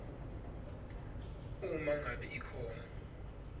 uma ngabe ikhona